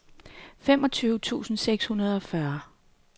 femogtyve tusind seks hundrede og fyrre